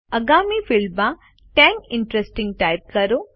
આગામી ફિલ્ડમાં ten interesting type કરો